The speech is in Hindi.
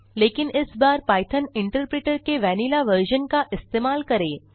लेकिन इस बार पाइथॉन इंटरप्रिटर के वैनिला वर्जन का इस्तेमाल करें